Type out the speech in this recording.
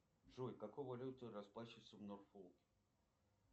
джой какой валютой расплачиваются в норфолке